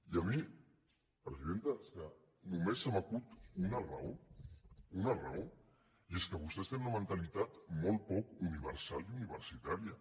i a mi presidenta és que només se m’acut una raó una raó i és que vostès tenen una mentalitat molt poc universal i universitària